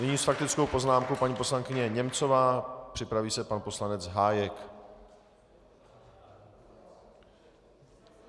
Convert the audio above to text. Nyní s faktickou poznámkou paní poslankyně Němcová, připraví se pan poslanec Hájek.